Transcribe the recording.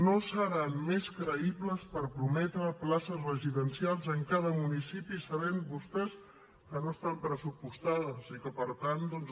no seran més creïbles per prometre places residencials en cada municipi sabent vostès que no estan pressupostades i que per tant doncs